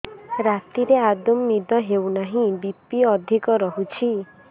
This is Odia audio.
ରାତିରେ ଆଦୌ ନିଦ ହେଉ ନାହିଁ ବି.ପି ଅଧିକ ରହୁଛି